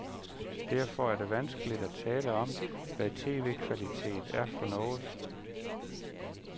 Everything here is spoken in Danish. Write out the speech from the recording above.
Derfor er det vanskeligt at tale om, hvad tv-kvalitet er for noget.